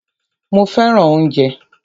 Mó fẹràn oúnjẹ.